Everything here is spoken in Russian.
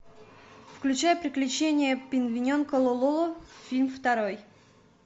включай приключения пингвиненка лоло фильм второй